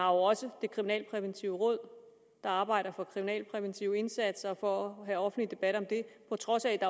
også det kriminalpræventive råd der arbejder for den kriminalpræventive indsats og på at en offentlig debat om det på trods af at